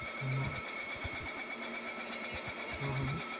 ਹਮ ਹਮ ਹਮ ਹਮ